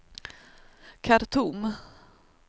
Khartoum